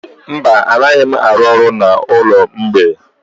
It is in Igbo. Mba, anaghị m arụ ọrụ n'ụlọ mgbei.